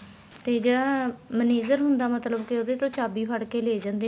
ਤੇ ਜਿਹੜਾ manger ਹੁੰਦਾ ਮਤਲਬ ਕੇ ਉਹਦੇ ਤੋ ਚਾਬੀ ਫੜ ਕੇ ਲੈ ਜਾਂਦੇ ਨੇ